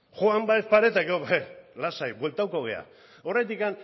joan badaezpada ere eta gero lasai bueltatuko gara oraindik